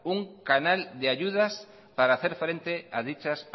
un canal de ayudas para hacer frente a dichas